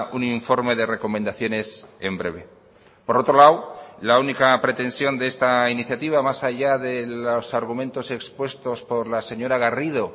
un informe de recomendaciones en breve por otro lado la única pretensión de esta iniciativa más allá de los argumentos expuestos por la señora garrido